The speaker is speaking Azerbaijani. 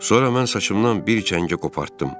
Sonra mən saçımdan bir çəngə qopartdım.